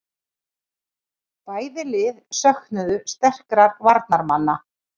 Bæði lið söknuðu sterkra varnarmanna